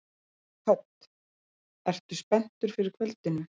Hödd: Ertu spenntur fyrir kvöldinu?